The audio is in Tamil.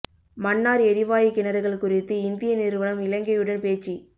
மன்னார் எரிவாயு கிணறுகள் குறித்து இந்திய நிறுவனம் இலங்கையுடன் பேச்சு